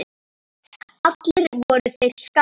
Allir voru þeir skátar.